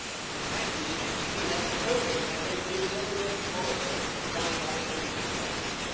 The fact is we have chosen as a deliberate policy to drive up energy prices